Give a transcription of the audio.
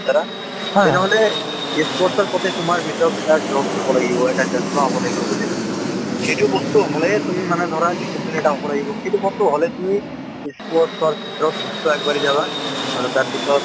তেনেহলে sports ৰ প্ৰতি তোমাৰ ভিতৰত এটা হব লাগিব, এটা হব লাগিব বুজিছা সেইটো বস্তু হ'লেহে তুমি মানে ধৰা discipline এটা হব লাগিব , সিটো বস্তু হলে তুমি sports ৰ ক্ষেত্ৰত নিশ্চয় আগবাঢ়ি যাবা । আৰু তাৰ পিছত